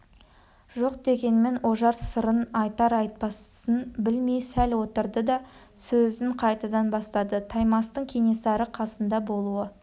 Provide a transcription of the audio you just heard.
жоқ дегенмен ожар сырын айтар-айтпасын білмей сәл отырды да сөзін қайтадан бастады таймастың кенесары қасында болуы